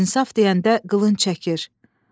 İnsaf deyəndə qılınc çəkir.